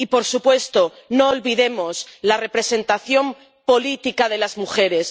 Y, por supuesto, no olvidemos la representación política de las mujeres.